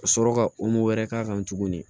Ka sɔrɔ ka wɛrɛ k'a kan tuguni